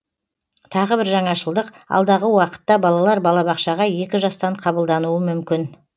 тағы бір жаңашылдық алдағы уақытта балалар балабақшаға екі жастан қабылдануы мүмкін